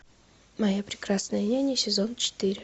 моя прекрасная няня сезон четыре